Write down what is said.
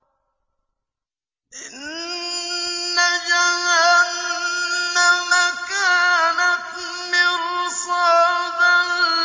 إِنَّ جَهَنَّمَ كَانَتْ مِرْصَادًا